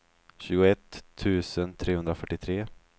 tjugoett tusen trehundrafyrtiotre